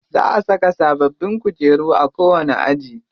Za a saka sababbin kujeru a kowani aji.